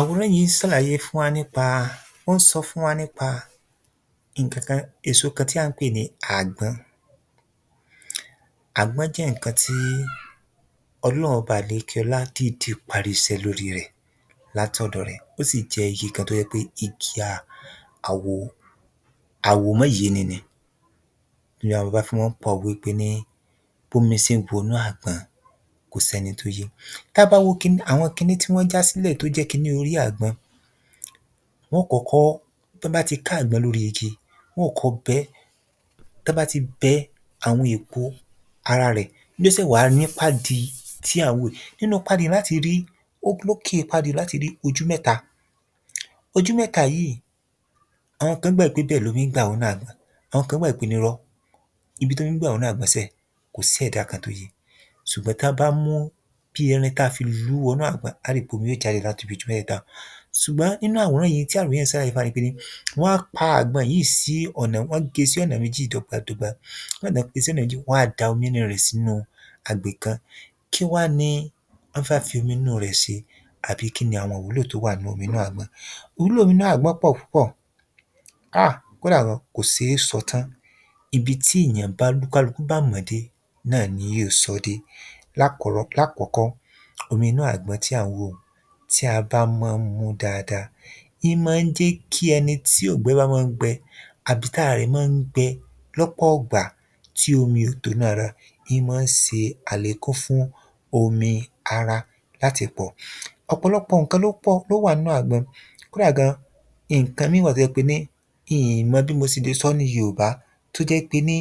Àwòrán yìí ń sàlàyé fún wa nípa ó ń so fún wa nípa nǹkan kan èso kan tí à ń pè ní àgbọn. Àgbọn jẹ́ nǹkan tí Olórun ọba àlékí ọlá dìdí parí isẹ́ lórí rẹ̀ látọ̀dọ̀ rẹ̀ ó sì jẹ́ igi kan tó jẹ́ pé kìkì àwò àwòmóyéni ni. Ni àwọn bàbá wa fí mó ń pa òwe pé ní bómi sé ń wọnú àgbọn kò sẹ́ni tó yé. Tá bá wo kiní àwọn kiní tí wọ́n já sílẹ̀ tó jẹ́ kiní orí àgbọn, wọ́n ó kọ́kọ́ tán bá ti ká àgbọn lórí igi wọ́n ó kọ́kọ́ bẹ́ tán bá ti bẹ́ àwọn èpo ara rẹ̀ ní ó sẹ̀ wá nípá di tí à ń wò yìí. Nínú pádi lá ti rí ó lókè pádi lá ti rí ojú méta, ojú méta yìí àwọn kan gbàgbọ́ pé ibẹ̀ lomi ń gbà wọ inú àgbọn. Àwọn kan gbàgbọ́ pé nírọ́, ibi tómi ń gbà wọ inú àgbọn sẹ́ kò sí ẹ̀dá kan tó yé, sùgbọ́n tá bá mú bí irin kan tá fi lú wò inú àgbọn á rí pé omi ó jáde ní láti ibi ojú mẹ́tèta un. Sùgbọ́n nínú àwòrán yìí n tí àwòrán yìí ń sàlàyé fún wa ni pé wọ́n á pa àgbọn yìí sí ọ̀nà wọ́n gé sí ọ̀nà méjì dọ́gbandọ́gba nígbà tán pín sí ọ̀nà méjì wọ́n á da omi inú rẹ̀ sínú agbè kan. Kí wá ni wọ́n fẹ́ fi omi inú rẹ̀ se? Àbí kíni àwọn ìwúlò tó wà nínú omi inú agbọ̀n? Ìwúlò omi inú àgbọn pọ̀ púpọ̀ um kódà gan kò sé sọ tán, ibi tí èyàn tí kálukú bá mọ̀ọ́ dé náà ni jóò sọ́ dé. Lákúrọ́ lákọ́kọ́, omi inú àgbọn tí à ń wò un, tí a bá mọ́ ń mú dáada n mọ́ ń jẹ́ kí ẹni tí óúngbẹ bá mọ́ ń gbẹ àbí tára rẹ̀ mọ́ ń gbẹ lọ́pọ̀ ìgbà tí omi ò tó lára ń mó ń se àlékún fún omi ara láti pọ̀. Ọ̀pọ̀lọpọ̀ nǹkan ló pọ̀ ló wà nú àgbọn, kódà gan nǹkan míì wà tó jẹ pé ní n mọ bí mo se le sọ́ ní yoòbá tó jẹ́ pé ní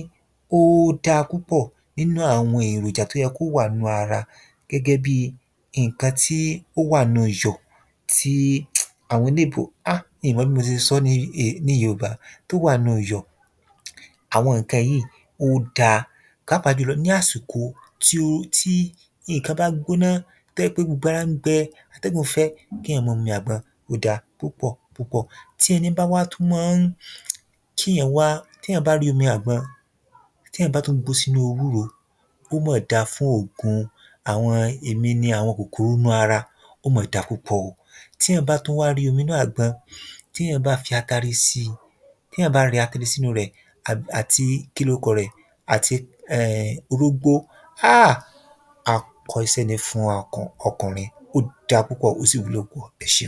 ó dá púpọ̀ nínú àwọn èròjà tó jẹ́ pé ní ó yẹ kó wà nínú ara, gẹ́gẹ́ bí nǹkan tí ó wà nínú iyọ̀ tí àwọn eléèbó um n mo bí mo se le sọ́ ní ní yoòbá tó wà nú yọ̀ àwọn nǹkan yìí ó dá pàápàá ní àsìkò tí ó tí nǹkan bá gbóná tó jé pé gbogbo ara gbẹ atẹ́gun fẹ́, kéyàn mọ́ mumi àgbọn ó dá púpọ̀ púpọ̀. Tí ẹni un bá tún mọ́ ń kéyàn wá rí omi àgbọn hun, téyàn bá tún gbó sínú ewúro, ó mọ̀ dà fún òògùn àwọn èmi ni àwọn kòkòrò inú ara, ó mà da púpọ̀ o. tí èyàn bá tún wá rí omi inú àgbọn, téyàn bá fi atare sí, téyàn bá rẹ́ atare sínú rẹ̀ àti kílókọrẹ̀ àti um orógbó um akọ isẹ́ ní fún ọkùnrin ó dá púpọ̀ ó sì wúlò púpọ̀. Ẹṣẹun.